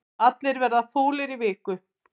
Allir verða fúlir í viku